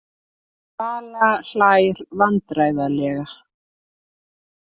Vala hlær vandræðalega.